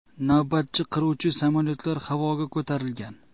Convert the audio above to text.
Navbatchi qiruvchi samolyotlar havoga ko‘tarilgan.